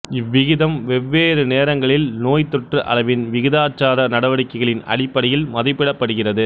இவ்விகிதம் வெவ்வேறு நேரங்களில் நோய்த்தொற்று அளவின் விகிதாச்சார நடவடிக்கைகளின் அடிப்படையில் மதிப்பிடப்படுகிறது